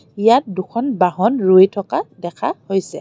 ইয়াত দুখন বাহন ৰৈ থকা দেখা হৈছে।